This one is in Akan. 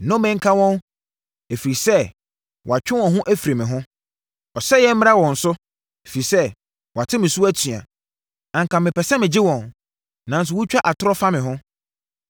Nnome nka wɔn, ɛfiri sɛ wɔatwe wɔn ho afiri me ho! Ɔsɛeɛ mmra wɔn so, ɛfiri sɛ wɔate me so atua! Anka mepɛ sɛ megye wɔn nanso wotwa atorɔ fa me ho.